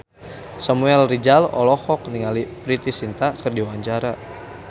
Samuel Rizal olohok ningali Preity Zinta keur diwawancara